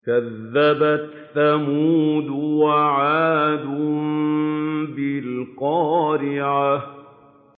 كَذَّبَتْ ثَمُودُ وَعَادٌ بِالْقَارِعَةِ